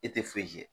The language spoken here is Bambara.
E tɛ foyi kɛ